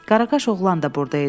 Qaraqaş oğlan da burda idi.